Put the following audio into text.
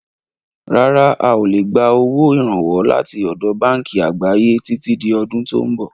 Rárá, a ó lè gbà owó Ìrànwọ́ láti ọ̀dọ̀ báànkì àgbáyé títí di ọdún tò ń bọ̀.